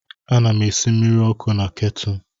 Ana m esi mmiri ọkụ na ketụlụ.